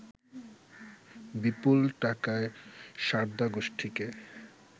বিপুল টাকায় সারদা গোষ্ঠীকে